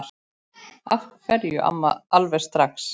Af hverju alveg strax?